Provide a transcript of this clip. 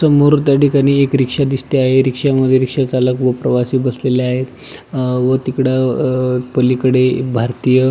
समोर त्या ठिकाणी एक रिक्षा दिसते आहे रिक्षामध्ये रिक्षा चालक आणि प्रवासी बसलेले आहे अ व तिकड अ पलीकडे भारतीय --